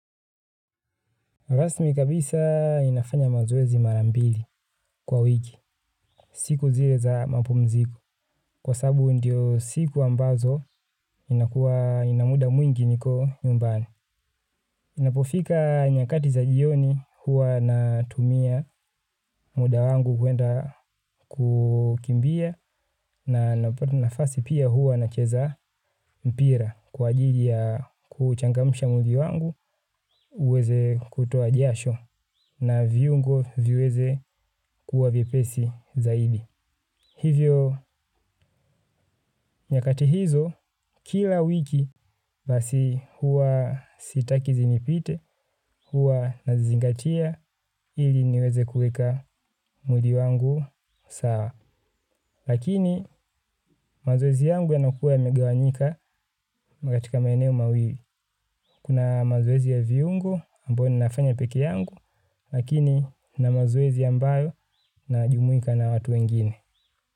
Rasmi kabisa ninafanya mazoezi mara mbili kwa wiki. Siku zile za mapumziko. Kwa sababu ndio siku ambazo inakuwa nina muda mwingi niko nyumbani. Napofika nyakati za jioni huwa natumia muda wangu kuenda kukimbia, na napata nafasi pia huwa nacheza mpira kwa ajili ya kuuchangamsha mwili wangu, uweze kutoa jasho na viungo viweze kuwa vyepesi zaidi. Hivyo nyakati hizo, kila wiki basi huwa sitaki zinipite, huwa nazingatia ili niweze kuweka mwili wangu sawa. Lakini mazoezi yangu yanakuwa yamegawanyika katika maeneo mawili. Kuna mazoezi ya viungo ambayo ninafanya peke yangu, lakini kuna mazoezi ambayo najumuika na watu wengine.